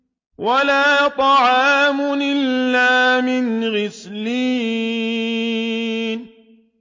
وَلَا طَعَامٌ إِلَّا مِنْ غِسْلِينٍ